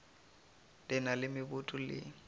le na le meboto le